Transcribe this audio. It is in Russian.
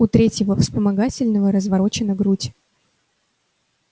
у третьего вспомогательного разворочена грудь